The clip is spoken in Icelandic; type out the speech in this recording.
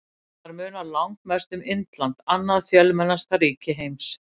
Þar munar langmest um Indland, annað fjölmennasta ríki heims.